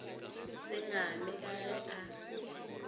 se ngame ka ge a